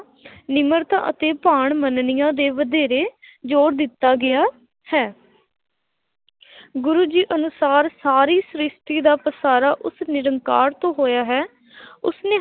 ਨਿਮਰਤਾ ਅਤੇ ਭਾਣ ਮੰਨਣੀਆਂ ਦੇ ਵਧੇਰੇ ਜੋਰ ਦਿੱਤਾ ਗਿਆ ਹੈ ਗੁਰੂ ਜੀ ਅਨੁਸਾਰ ਸਾਰੀ ਸ੍ਰਿਸ਼ਟੀ ਦਾ ਪਸਾਰਾ ਉਸ ਨਿਰੰਕਾਰ ਤੋਂ ਹੋਇਆ ਹੈ ਉਸਨੇ